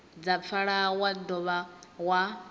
dza pfala wa dovha wa